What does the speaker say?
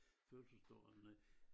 Fødselsdag eller noget